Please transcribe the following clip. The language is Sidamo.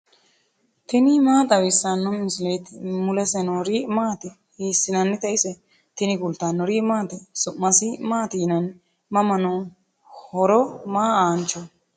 tini maa xawissanno misileeti ? mulese noori maati ? hiissinannite ise ? tini kultannori maati? su'masi maati yinnanni? mama noo? horo maa aanoho?